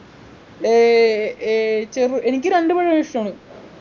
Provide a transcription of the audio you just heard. ഏർ ഏർ ചെറു എനിക്ക് രണ്ടു പഴവും ഇഷ്ടാണ്